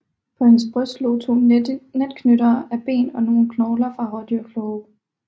På hendes bryst lå to netknyttere af ben og nogle knogler fra rådyrklove